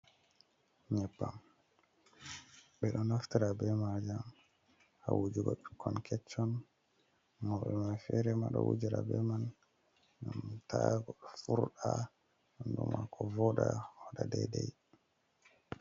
Nyebbam ɓeɗo naftira be ma jam hawujugo ɓikkon kechon mauɓe ma fere ma ɗo wujara be man gnam ta furda do mako voda woda daidai.